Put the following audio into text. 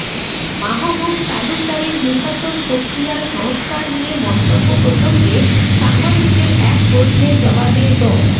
মাহবুব তালুকদারের নির্বাচন প্রক্রিয়ার সংস্কার নিয়ে মন্তব্য প্রসঙ্গে সাংবাদিকদের এক প্রশ্নে জবাবে ড